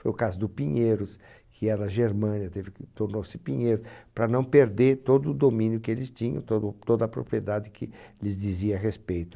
Foi o caso do Pinheiros, que era Germânia, teve que tornou-se Pinheiros, para não perder todo o domínio que eles tinham, todo toda a propriedade que lhes dizia respeito.